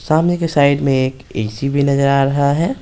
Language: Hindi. सामने के साइड में एक एसी भी नजर आ रहा है।